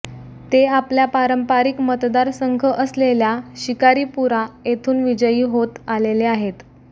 ते आपल्या पारंपरिक मतदार संघ असलेल्या शिकारीपुरा येथून विजयी होतं आलेले आहेत